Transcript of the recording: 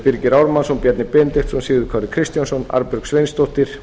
birgir ármannsson bjarni benediktsson sigurður kári kristjánsson arnbjörg sveinsdóttir